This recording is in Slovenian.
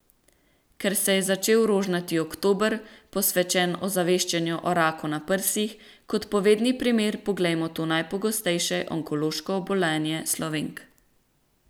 Ker se je začel rožnati oktober, posvečen ozaveščanju o raku na prsih, kot povedni primer poglejmo to najpogostejše onkološko obolenje Slovenk.